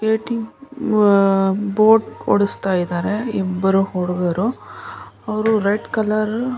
Boating boat ಓಡಿಸ್ತಿದಾರೆ ಇಬ್ಬರು ಹುಡುಗರು. ಅವರು ರೆಡ್ ಕಲರ್ --